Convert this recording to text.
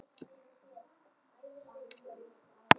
Fáið þið ykkar bætt.